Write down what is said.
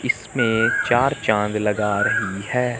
इसमें चार चांद लगा रही है।